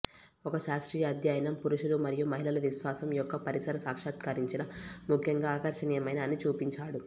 ఒక శాస్త్రీయ అధ్యయనం పురుషులు మరియు మహిళలు విశ్వాసం యొక్క పరిసర సాక్షాత్కరించిన ముఖ్యంగా ఆకర్షణీయమైన అని చూపించాడు